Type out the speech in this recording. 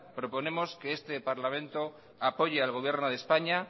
proponemos que este parlamento apoye al gobierno de españa